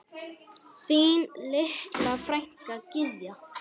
Þín litla frænka Gyða.